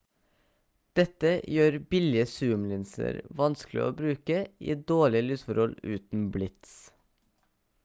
dette gjør billige zoom-linser vanskelig å bruke i dårlige lysforhold uten blits